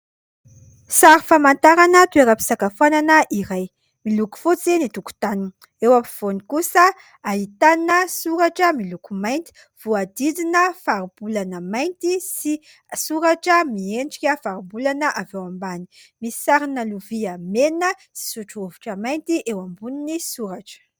Sary famantarana toeram-pisakafoanana iray, miloko fotsy ny tokotaniny, eo afovoany kosa ahitana soratra miloko mainty voahodidina faribolana mainty sy soratra miendrika faribolana avy eo ambany. Misy sarina lovia mena sy sotro rovitra mainty eo ambonin'ny soratra.